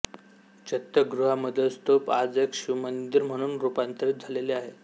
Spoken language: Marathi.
चैत्यगृहामधील स्तूप आज एक शिवमंदिर म्हणून रूपांतरीत झालेले आहे